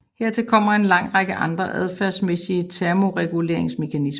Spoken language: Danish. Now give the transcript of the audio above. Hertil kommer en lang række andre adfærdsmæssige termoreguleringsmekanismer